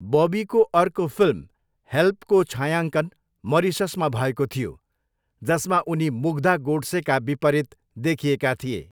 बबीको अर्को फिल्म 'हेल्प'को छायाङ्कन मरिससमा भएको थियो, जसमा उनी मुग्धा गोडसेका विपरीत देखिएका थिए।